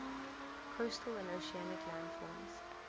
coastal and oceanic landforms